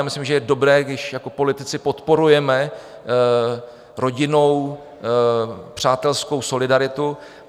Já myslím, že je dobré, když jako politici podporujeme rodinnou, přátelskou solidaritu.